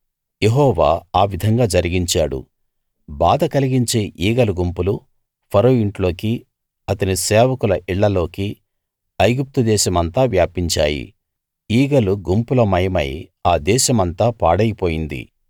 యెహోవా ఆ విధంగా జరిగించాడు బాధ కలిగించే ఈగల గుంపులు ఫరో ఇంట్లోకి అతని సేవకుల ఇళ్ళలోకి ఐగుప్తు దేశమంతా వ్యాపించాయి ఈగల గుంపులమయమై ఆ దేశమంతా పాడై పోయింది